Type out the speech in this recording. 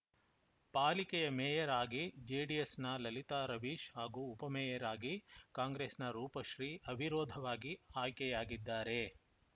ಪಾಲಿಕೆಯ ಮೇಯರ್‌ ಆಗಿ ಜೆಡಿಎಸ್‌ನ ಲಲಿತಾ ರವೀಶ್‌ ಹಾಗೂ ಉಪಮೇಯರ್‌ ಆಗಿ ಕಾಂಗ್ರೆಸ್‌ನ ರೂಪಶ್ರೀ ಅವಿರೋಧವಾಗಿ ಆಯ್ಕೆಯಾಗಿದ್ದಾರೆ